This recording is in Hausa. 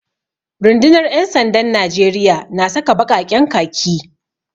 Rundunar ‘yan sandan Najeriya na saka baƙaƙen khaki